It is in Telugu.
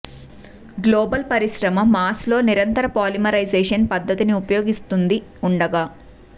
గ్లోబల్ పరిశ్రమ మాస్ లో నిరంతర పాలిమరైజేషన్ పద్ధతిని ఉపయోగిస్తుంది ఉండగా